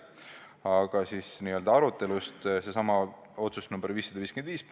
Aga nüüd n-ö arutelust sellesama otsuse nr 551 üle.